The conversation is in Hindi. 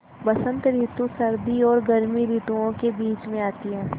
बसंत रितु सर्दी और गर्मी रितुवो के बीच मे आती हैँ